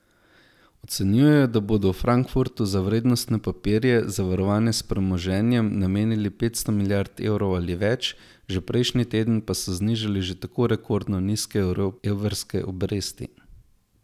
Ocenjujejo, da bodo v Frankfurtu za vrednostne papirje, zavarovane s premoženjem, namenili petsto milijard evrov ali več, že prejšnji teden pa so znižali že tako rekordno nizke evrske obresti.